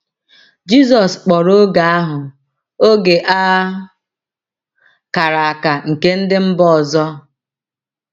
Jizọs kpọrọ oge ahụ “ oge a kara aka nke ndị mba ọzọ. ”